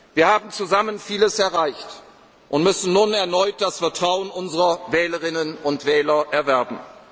danken. Wir haben zusammen vieles erreicht und müssen nun erneut das Vertrauen unserer Wählerinnen und Wähler